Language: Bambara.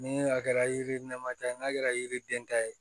Ni a kɛra yiri nɛma ta ye n'a kɛra yiriden ta ye